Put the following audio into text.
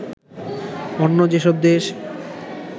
অন্য যেসব দেশ